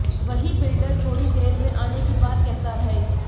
वहीं बिल्डर थोड़ी देर में आने की बात कहता रहे